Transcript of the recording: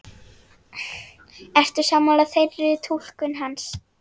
Ertu sammála þeirri túlkun hans?